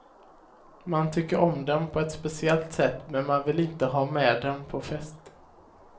Man tycker om dem på ett speciellt sätt, men man vill inte ha med dem på fest.